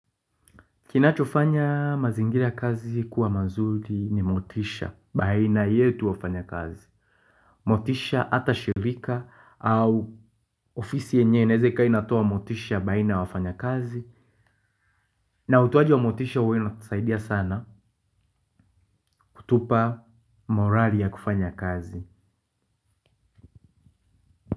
Kinachofanya mazingira ya kazi kuwa mazuri ni motisha baina yetu wafanyakazi. Motisha hata shirika au ofisi yenye inaeza kaa inatoa motisha baina wafanyakazi. Na utoaji wa motisha huwa inatusaidia sana kutupa morali ya kufanya kazi.